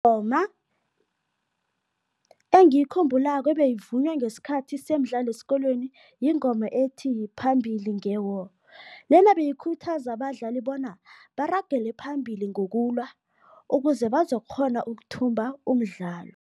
Ingoma engiyikhumbulako ebeyivunywa ngesikhathi semidlalo esikolweni yingoma ethi, phambili nge-war. Lena beyikhuthaza abadlali bona baragele phambili ngokulwa ukuze bazokukghona ukuthumba umdlalo.